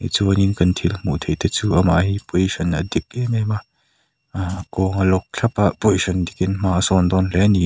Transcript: chuanin kan thil hmuh theih te chu amah hi position a dik em em a aaa a kawng a lock thlap a position dikin hma a dawn dawn hle ni --